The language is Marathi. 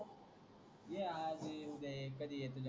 ये आज उद्या कधी येतो